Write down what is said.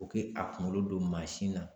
U kɛ a kunkolo don mansin na